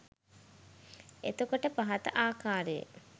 එතකොට පහත ආකාරයේ